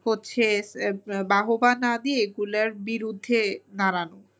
হচ্ছে বাহবা না দিয়ে এগুলার বিরুদ্ধে দাঁড়ানো।